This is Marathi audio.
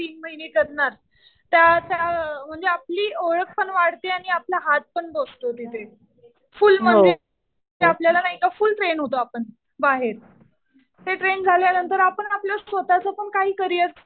तीन महिने करणार. त्या त्या म्हणजे आपली ओळख पण वाढते आणि आपला हात पण बसतो तिथे. फुल म्हणजे ते आपल्याला नाही का फुल ट्रेन होतो आपण बाहेर. ते ट्रेन झाल्यानंतर आपण आपलं स्वतःच पण काही करियर